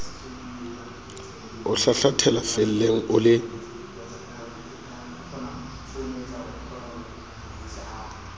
o hlahlathela felleng o le